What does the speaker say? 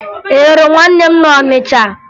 Ị hụrụ nwanne m na Ọnịcha?